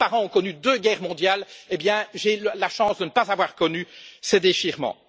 Mes grands parents ont connu deux guerres mondiales, et j'ai la chance de ne pas avoir connu ces déchirements.